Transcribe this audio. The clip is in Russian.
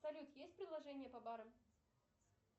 салют есть приложение по барам